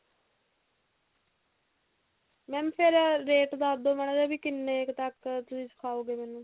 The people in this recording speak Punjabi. mam ਫਿਰ rate ਦੱਸ ਦੋ ਮਾੜਾ ਜਾ ਵੀ ਕਿੰਨੇ ਕ ਤੱਕ ਤੁਸੀਂ ਸਿਖਾਓਗੇ ਮੈਨੂੰ